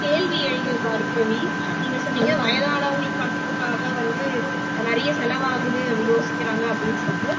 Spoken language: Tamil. கேள்வி எழுது பார்கவி நீங்க சொன்னீங்க வயதானவங்களுக்கு பண்றதுக்காக வந்து நிறைய செலவாகுது அப்படி யோசிக்கிறாங்க அப்படின்னு சொல்லிட்டு